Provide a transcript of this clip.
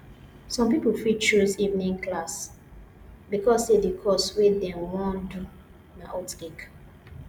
some pipo fit choose evening class because say the course wey dem won do na hot cake